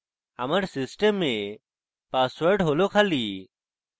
আমার system password খালি